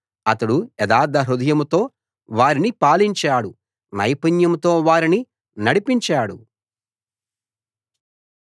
అతడు యథార్థ హృదయంతో వారిని పాలించాడు నైపుణ్యంతో వారిని నడిపించాడు